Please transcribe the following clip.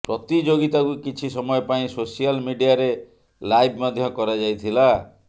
ପ୍ରତିଯୋଗିତାକୁ କିଛି ସମୟ ପାଇଁ ସୋସିଆଲ ମିଡିଆରେ ଲାଇଭ ମଧ୍ୟ କରାଯାଇଥିଲା